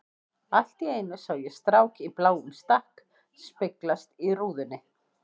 Allt í einu sá ég strák í bláum stakk speglast í rúðunni.